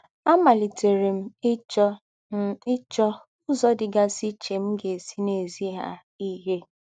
Àmálìtèrè m íchọ́ m íchọ́ úzọ́ dí́gásí íché m̀ gà-èsí nà-èzí hà íhé.